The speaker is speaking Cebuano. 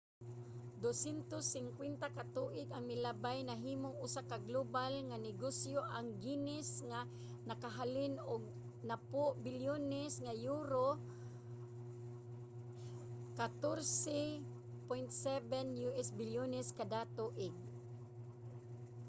250 ka tuig ang milabay nahimong usa ka global nga negosyo ang guinness nga nakahalin og 10 bilyones nga euro us$14.7 bilyones kada tuig